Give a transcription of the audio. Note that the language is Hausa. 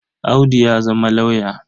Audu ya zama lauyer.